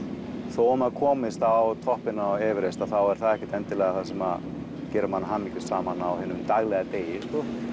þó að maður komist á toppinn á Everest þá er það ekkert endilega það sem gerir mann hamingjusaman á hinum daglega degi